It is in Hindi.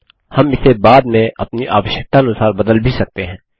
हम इसे बाद में अपनी आवश्यकतानुसार बदल भी सकते हैं